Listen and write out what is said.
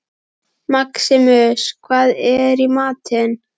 Maximus, hvað er í matinn?